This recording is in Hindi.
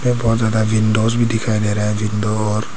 बहुत ज्यादा विंडोज भी दिखाई दे रहे हैं विंडोर--